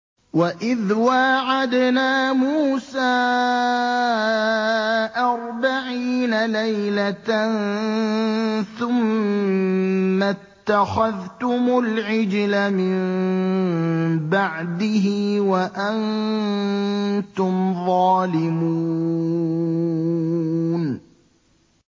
وَإِذْ وَاعَدْنَا مُوسَىٰ أَرْبَعِينَ لَيْلَةً ثُمَّ اتَّخَذْتُمُ الْعِجْلَ مِن بَعْدِهِ وَأَنتُمْ ظَالِمُونَ